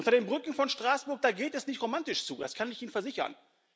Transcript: Unter den Brücken von Straßburg geht es nicht romantisch zu, das kann ich Ihnen versichern.